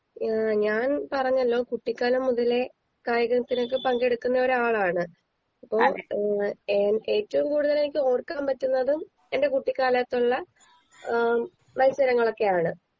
ഏഹ് ഞാൻ പറഞ്ഞാലോ കുട്ടികാലം മുതലെ കായികത്തിനൊക്കെ പങ്കെടുക്കുന്ന ഒരാളാണ് അപ്പൊ ഏഹ് ഏ ഏറ്റോം കൂടുതലെനിക്ക് ഓർക്കാൻ പറ്റുന്നതും എന്റെ കുട്ടിക്കാലത്തുള്ള ഏഹ് മത്സരങ്ങളൊക്കെയാണ്